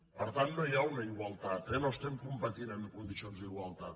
per tant no hi ha una igualtat eh no competim en condicions d’igualtat